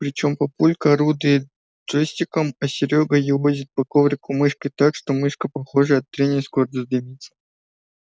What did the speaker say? причём папулька орудует джойстиком а серёга елозит по коврику мышкой так что мышка похоже от трения скоро задымится